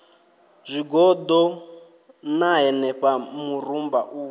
zwigoḓo ṋna henefha murumba u